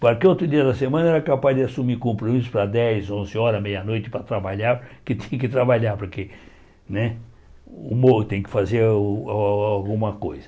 Porque outro dia da semana era capaz de assumir compromisso para dez, onze horas, meia-noite, para trabalhar, que tinha que trabalhar, porque né o morro tem que fazer o a alguma coisa.